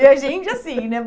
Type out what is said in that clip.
E a gente, assim, né?